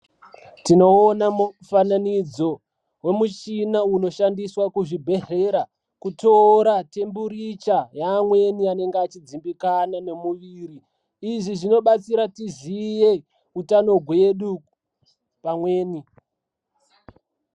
Tinoona mufananidzo wemuchina unoshandiswa kuchibhehleya kutora kudziya kana kutonhora kwemiri yevantu izvi zvinobatsira tiziye utano hwedu pamukuwo uwowo.